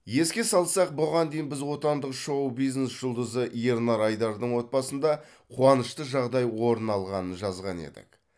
еске салсақ бұған дейін біз отандық шоу бизнес жұлдызы ернар айдардың отбасында қуанышты жағдай орын алғанын жазған едік